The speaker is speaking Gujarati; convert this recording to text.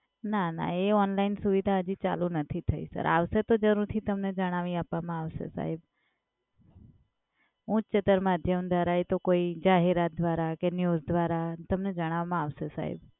ના ના એ Online સુવિધા હજી ચાલુ નથી થઈ સર. આવશે તો જરૂરથી તમને જણાવી આપવામાં આવશે સાહેબ. ઉચ્ચતર મધ્યમ દ્વારા કે કોઈ જાહેરાત દ્વારા કે news દ્વારા તમને જણાવવામાં આવશે સાહેબ.